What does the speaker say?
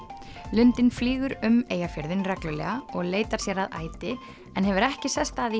lundinn flýgur um Eyjafjörðinn reglulega og leitar sér að æti en hefur ekki sest að í